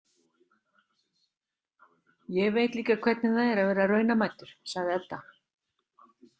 Ég veit líka hvernig það er að vera raunamæddur, sagði Edda.